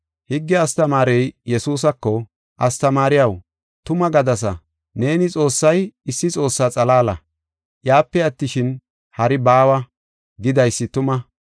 Higge astamaarey Yesuusako, “Astamaariyaw, tuma gadasa; neeni ‘Xoossay issi Xoossaa xalaala. Iyape attishin, hari baawa’ gidaysi tuma.